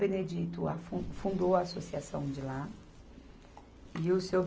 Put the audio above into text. Benedito fun, fundou a associação de lá e o Seu